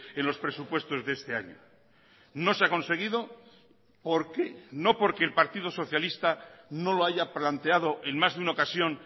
en los presupuestos de este año no se ha conseguido por qué no porque el partido socialista no lo haya planteado en más de una ocasión